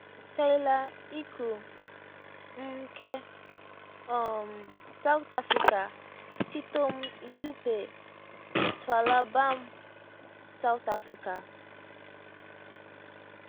tyler icu mnike um south africa titom yuppe tshwala bam south africa